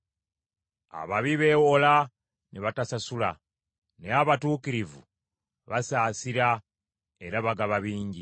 Ababi beewola, ne batasasula; naye abatuukirivu basaasira era bagaba bingi.